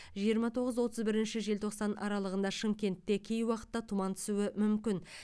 жиырма тоғыз отыз бірінші желтоқсан аралығында шымкентте кей уақытта тұман түсуі мүмкін